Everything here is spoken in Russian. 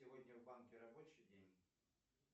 сегодня в банке рабочий день